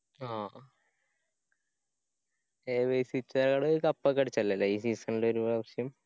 ആ ഏത് cup ഒക്കെ അടിച്ചയല്ലേ ല്ലേ ഈ season ല് ഒരു പ്രാവശ്യം